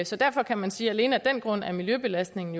så derfor kan man sige at alene af den grund er miljøbelastningen